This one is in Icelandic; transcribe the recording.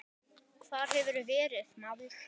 Hvar hefurðu verið, maður?